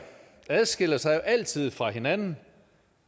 adskiller sig altid fra hinanden